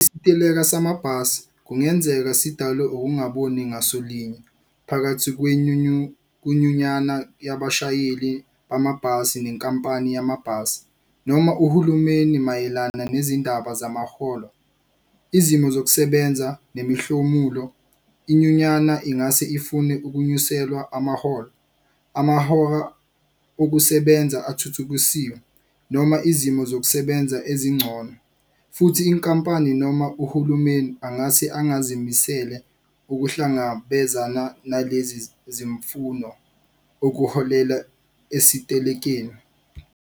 Isiteleka samabhasi kungenzeka sidalwe ukungaboni ngasolinye phakathi kwenyunyana yabashayeli bamabhasi nenkampani yamabhasi noma uhulumeni mayelana nezindaba zamaholo, izimo zokusebenza nemihlomulo. Inyunyana ingase ifune ukunyuselwa amaholo, amahora okusebenza athuthukisiwe noma izimo zokusebenza ezingcono futhi inkampani noma uhulumeni angase engazimisele ukuhlangabezana nalezi zimfuno okuholela esitelekeni.